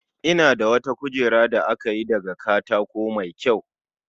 Ina da wata kujera da aka yi daga katako mai kyau